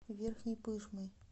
верхней пышмой